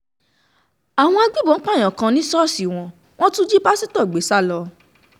àwọn agbébọn pààyàn kan ni ṣọ́ọ̀ṣì wọn wọn tún jí pásítọ̀ gbé sá lọ